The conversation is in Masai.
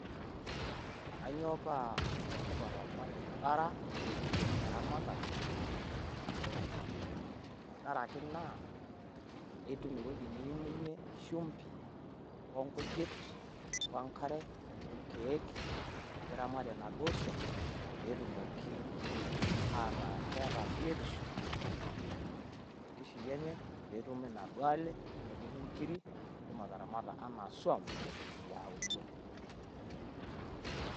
Kanyioo paa ole tipat orbaribara ilepunyie eramatare oo nkishu e kule? tenkaraki naa aituum ewueji niimunyiee shumbi, onkujit, wenkare olkeek niramatiee naduoo suam petumoki ataa ketaa biotisho tenkishui enye petumi naduoo ale oonkiri pitumoki ataramata naduoo suam ealuo